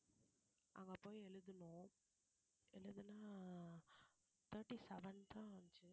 அங்க போய் எழுதுணோம் எழுதுனா thirty seven தான் வந்துச்சு